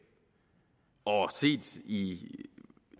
set i